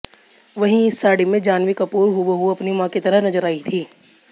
वहीं इस साड़ी में जाह्नवी कपूर हूबहू आपनी मां की तरह नजर आई थीं